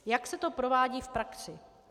Jak se to provádí v praxi?